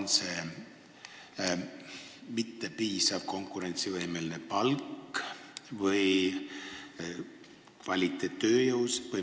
Kas selle taga on mittepiisav konkurentsivõimetu palk või lihtsalt ei jätku kvaliteetset tööjõudu?